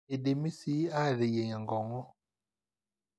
eidimi sii aateyieng enkong'u